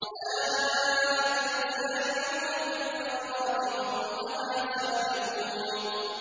أُولَٰئِكَ يُسَارِعُونَ فِي الْخَيْرَاتِ وَهُمْ لَهَا سَابِقُونَ